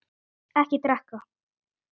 Ekki drekka.